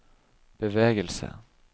bevegelse